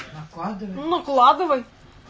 выкладывай ну выкладывай